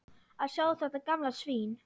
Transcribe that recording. Að sjá þetta gamla svín.